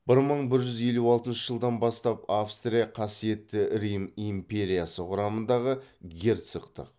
бір мың бір жүз елу алтыншы жылдан бастап австрия қасиетті рим империясы құрамындағы герцогтық